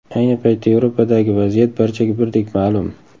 Ayni paytda Yevropadagi vaziyat barchaga birdek ma’lum.